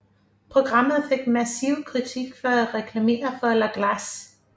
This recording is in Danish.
Programmet fik massiv kritik for at reklamere for La Glace